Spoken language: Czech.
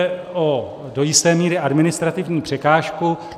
Jde o do jisté míry administrativní překážku.